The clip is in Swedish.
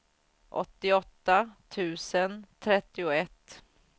åttioåtta tusen trettioett